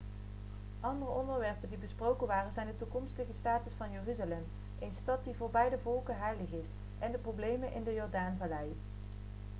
andere onderwerpen die besproken waren zijn de toekomstige status van jeruzalem een stad die voor beide volken heilig is en de problemen in de jordaanvallei